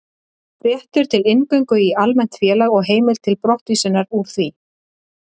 Réttur til inngöngu í almennt félag og heimild til brottvísunar úr því.